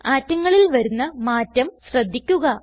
ആറ്റങ്ങളിൽ വരുന്ന മാറ്റം ശ്രദ്ധിക്കുക